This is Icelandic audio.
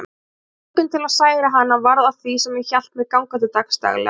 Þessi löngun til að særa hana varð að því sem hélt mér gangandi dagsdaglega.